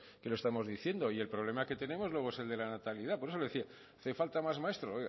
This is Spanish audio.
que lo estamos diciendo y el problema que tenemos luego es el de la natalidad por eso le decía hacen más maestros